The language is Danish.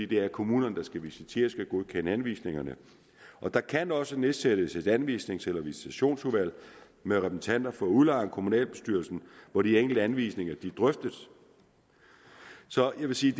det er kommunen der skal visitere og godkende anvisningerne der kan også nedsættes et anvisnings eller visitationsudvalg med repræsentanter for udlejeren og kommunalbestyrelsen hvor de enkelte anvisninger drøftes så jeg vil sige